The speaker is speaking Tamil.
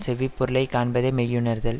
செவ்வி பொருளை காண்பதே மெய்யுணர்தல்